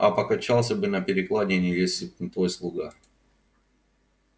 а покачался бы на перекладине если б не твой слуга